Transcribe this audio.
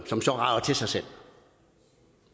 som så rager til sig selv